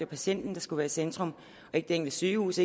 patienten der skal være i centrum ikke det enkelte sygehus